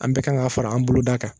An bɛɛ kan ka fara an boloda kan